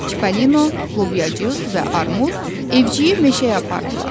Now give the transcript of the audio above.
Çippolino, Lobyacıq və Armud evciyi meşəyə apardılar.